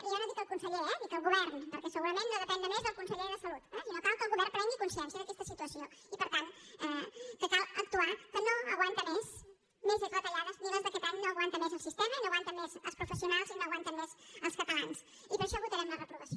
jo no dic el conseller eh dic el govern perquè segurament no depèn només del conseller de salut sinó que cal que el govern prengui consciència d’aquesta situació i per tant cal actuar que no aguanta més més retallades ni les d’aquest any no aguanta més el sistema no aguanten més els professionals i no aguanten més els catalans i per això votarem la reprovació